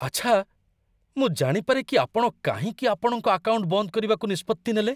ଆଛା! ମୁଁ ଜାଣିପାରେ କି ଆପଣ କାହିଁକି ଆପଣଙ୍କ ଆକାଉଣ୍ଟ ବନ୍ଦ କରିବାକୁ ନିଷ୍ପତ୍ତି ନେଲେ?